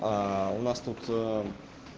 у нас тут